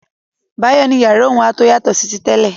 Báyọ̀ ní yàrá òun a tó yàtọ̀ sí ti tẹ́lẹ̀.